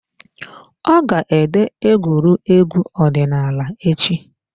Ọ ga ede egwuregwu ọdịnaala echi.